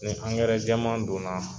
Ni ankɛrɛ caman donna